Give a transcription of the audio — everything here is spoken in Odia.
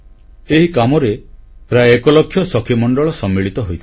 ଏହି କାମରେ ପ୍ରାୟ 1 ଲକ୍ଷ ସଖିମଣ୍ଡଳ ସମ୍ମିଳିତ ହୋଇଥିଲେ